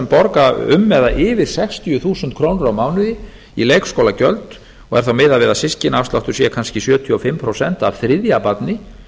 borga um eða yfir sextíu þúsund krónur á mánuði í leikskólagjöld og er þá miðað við að systkinaafsláttur sé kannski sjötíu og fimm prósent af þriðja barni